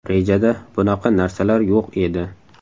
Rejada bunaqa narsalar yo‘q edi.